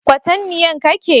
Kwatanniyan Ka ke?